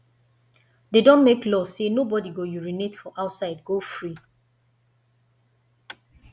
de don make law say nobody go urinate for outside go free